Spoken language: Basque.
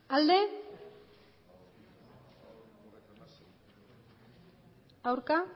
emandako